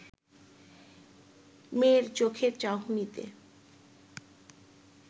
মেয়ের চোখের চাহনিতে